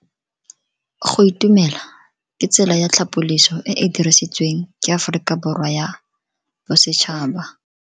Go itumela ke tsela ya tlhapoliso e e dirisitsweng ke Aforika Borwa ya Bosetšhaba.